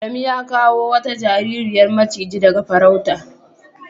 Adamu ya kawo wata jaririya macigi daga farauta.